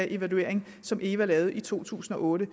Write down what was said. evaluering som eva lavede i to tusind og otte